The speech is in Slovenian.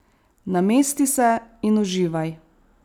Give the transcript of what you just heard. Namesti se in uživaj.